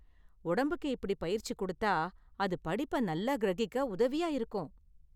உடம்புக்கு இப்படி பயிற்சி கொடுத்தா, அது படிப்ப நல்லா கிரகிக்க உதவியா இருக்கும்.